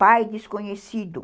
Pai desconhecido.